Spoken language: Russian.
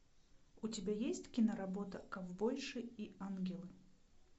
у тебя есть киноработа ковбойши и ангелы